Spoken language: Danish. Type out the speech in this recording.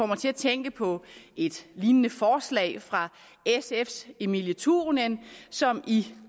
mig til at tænke på et lignende forslag fra sfs emilie turunen som i